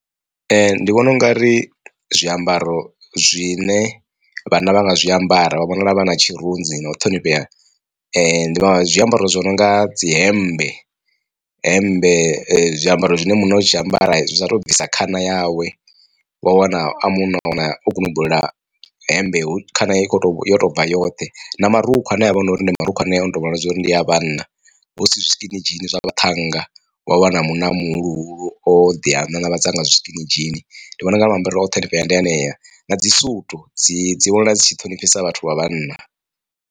Ndi vhona ungari zwiambaro zwine vhanna vha nga zwiambara vha vhonala vha na tshirunzi na u ṱhonifhea ndi zwiambaro zwi no nga dzi hemmbe. Hemmbe zwiambaro zwine munna o tshi ambara zwi sa to bvisa khana yawe wa wana a munna a wana o gunubulula hemmbe hu khana i kho to yo to bva yoṱhe na marukhu ane avha hunori ndi marukhu anea a noto vhonala zwauri ndi a vhanna husi zwi skinidzhini zwa vhaṱhannga. Wa wana munna muhuluhulu o ḓi nanavhadza nga zwi skini dzhini ndi vhona ungari maambarele a u ṱhonifhea ndi hanea na dzi sutu dzi dzi vhona dzi tshi ṱhonifhisa vhathu vha vhanna.